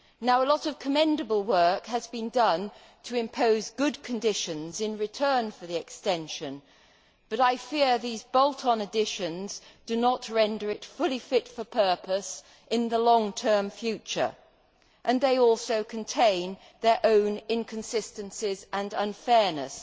A lot of commendable work has been done to impose good conditions in return for the extension, but I fear these bolt on additions do not render it fully fit for the purpose in the long term future, and they also contain their own inconsistencies and unfairness